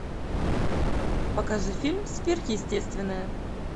покажи фильм сверхъестественное